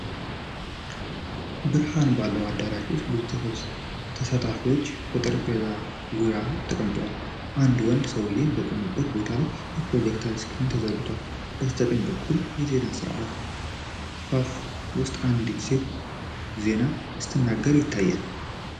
ብርሃን ባለው አዳራሽ ውስጥ ብዙ ተሳታፊዎች በተዘረጋ ጠረጴዛ ዙሪያ ተቀምጠዋል። አንድ ወንድ ሰውዬ በቆመበት ቦታ ላይ የፕሮጀክሽን ስክሪን ተዘርግቶለታል፤ በስተቀኝ በኩል የዜና ስርጭት ክፈፍ ውስጥ አንዲት ሴት ዜና ስትናገር ይታያል።